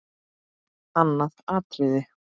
Annað atriði.